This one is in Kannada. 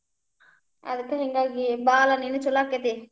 ಅದಕ್ ಹಿಂಗಾಗಿ ಬಾರ ನೀನು ಚುಲೊ ಆಕ್ಕೆತಿ.